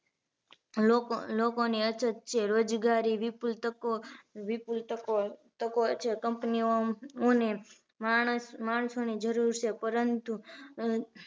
લોક લોકોની અછત છે રોજગારી વિપુલ તકો વિપુલ તકો તકો હોય છે company ઓ ને માણસ માણસોની જરૂર છે પરંતુ